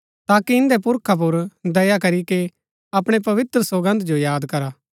ताकि इन्दै पुरखा पुर दया करीके अपणै पवित्र सौगन्द जो याद करा